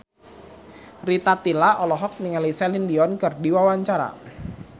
Rita Tila olohok ningali Celine Dion keur diwawancara